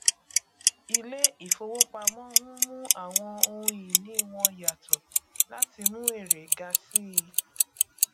ilé ìfowópamọ n mú àwọn ohun ìní wọn yàtọ láti mú èrè ga sí i